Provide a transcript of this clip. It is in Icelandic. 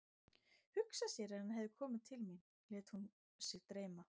Hugsa sér ef hann hefði komið til mín, lét hún sig dreyma.